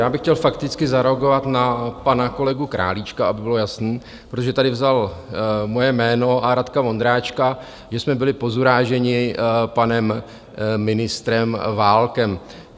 Já bych chtěl fakticky zareagovat na pana kolegu Králíčka, aby bylo jasný, protože tady vzal moje jméno a Radka Vondráčka, že jsme byli pozuráženi panem ministrem Válkem.